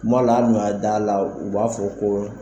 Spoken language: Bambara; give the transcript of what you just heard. Kuma hali n'o y'a d'a la u b'a fɔ ko